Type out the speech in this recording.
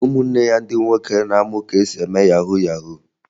Ụmụnne ya ndị nwoke na-amụ ka esi eme yahu yahu